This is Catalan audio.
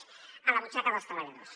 a la butxaca dels treballadors